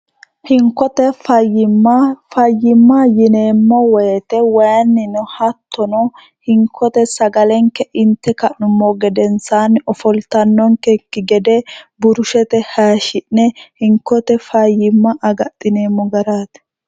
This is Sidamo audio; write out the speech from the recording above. hinkote imfayyimma yineemmo woyite wayinni no hattono hinkote sagalenke inte ka'nummo gedensaanni ofoltannonkekki gede burushete hayishshi'ne hinkote fayyimma agaxineemmo garaati